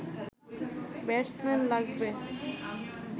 batsman লাগবে